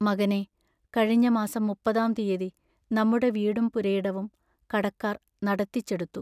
മകനേ, കഴിഞ്ഞ മാസം മുപ്പതാം തീയതി നമ്മുടെ വീടും പുരയിടവും കടക്കാർ നടത്തിച്ചെടുത്തു.